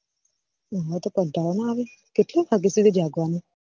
ઓ હો તો કંટાળો ના આવે કેટલા વાગ્યા સુધી જાગવાનું